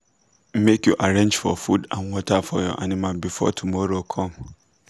make you arrange for food and water for your animal before tomorow come